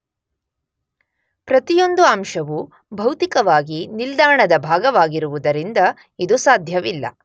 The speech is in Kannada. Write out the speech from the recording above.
ಪ್ರತಿಯೊಂದು ಅಂಶವು ಭೌತಿಕವಾಗಿ ನಿಲ್ದಾಣದ ಭಾಗವಾಗಿರುವುದರಿಂದ ಇದು ಸಾಧ್ಯವಿಲ್ಲ.